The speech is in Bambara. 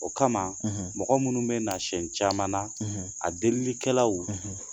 O kama mɔgɔ minnu bɛna sɛn caman na a delikɛlaw